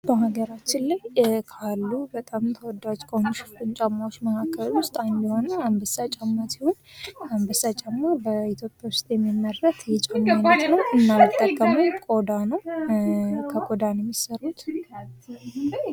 በሀገራችን ላይ ካሉ በጣም ተወዳጅ ሽፍን ጫማዎች አንዱ የሆነው አንበሳ ጫማ ሲሆን አንበሳ ጫማ ኢትዮጵያ ውስጥ የሚመረት የጫማ አይነት ነው። እና የሚጠቀመው ቆዳ ነው። ከቆዳ ነው የሚሰሩት።